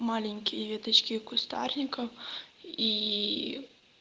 маленькие веточки и кустарников ии